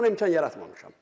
Mən buna imkan yaratmamışam.